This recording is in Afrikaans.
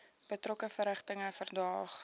betrokke verrigtinge verdaag